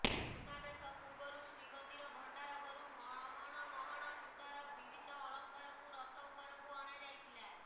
ସୁନାବେଶ ପୂର୍ବରୁ ଶ୍ରୀମନ୍ଦିର ଭଣ୍ଡାର ଘରୁ ମହଣ ମହଣ ସୁନାର ବିଭିନ୍ନ ଅଳଙ୍କାରକୁ ରଥ ଉପରକୁ ଅଣାଯାଇଥିଲା